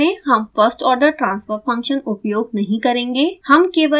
इस ट्यूटोरियल में हम first order transfer function उपयोग नहीं करेंगे